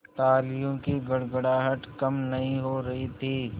तालियों की गड़गड़ाहट कम नहीं हो रही थी